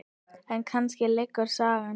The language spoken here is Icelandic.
En kannski lýgur sagan.